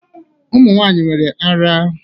Ụmụ nwanyị nwere ara